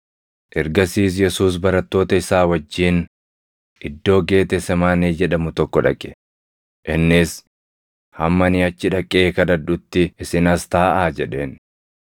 Ergasiis Yesuus barattoota isaa wajjin iddoo Geetesemaanee jedhamu tokko dhaqe; innis, “Hamma ani achi dhaqee kadhadhutti isin as taaʼaa” jedheen.